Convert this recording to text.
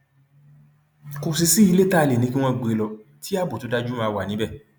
kò sì sí ilé tá a lè ní kí wọn gbé e lọ tí ààbò tó dájú máa wà níbẹ